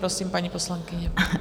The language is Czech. Prosím, paní poslankyně.